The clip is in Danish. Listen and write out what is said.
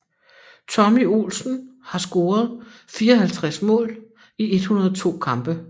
Tommy Olsen har scoret 54 mål i 102 kampe